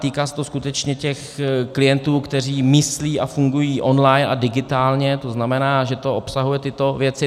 Týká se to skutečně těch klientů, kteří myslí a fungují online a digitálně, to znamená, že to obsahuje tyto věci.